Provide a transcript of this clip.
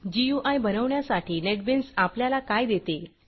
गुई बनवण्यासाठी नेटबीन्स आपल्याला काय देते160